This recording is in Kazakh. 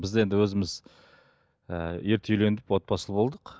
біз енді өзіміз і ерте үйлендік отбасылы болдық